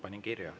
Panin kirja.